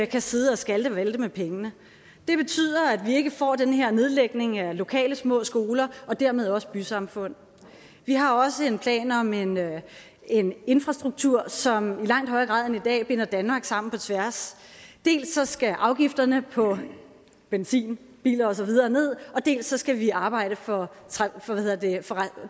kan sidde og skalte og valte med pengene det betyder at vi ikke får den her nedlægning af lokale små skoler og dermed også bysamfund vi har også en plan om en en infrastruktur som i langt højere grad end i dag binder danmark sammen på tværs dels skal afgifterne på benzin biler og så videre ned dels skal vi arbejde for